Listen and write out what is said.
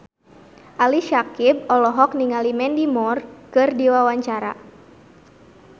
Ali Syakieb olohok ningali Mandy Moore keur diwawancara